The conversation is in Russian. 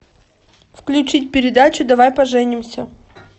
включить передачу давай поженимся